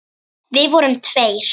Við vorum tveir.